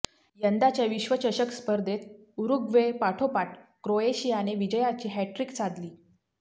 यंदाच्या विश्वचषक स्पर्धेत उरुग्वेपाठोपाठ क्रोएशियाने विजयाची हॅट्ट्रिक साधली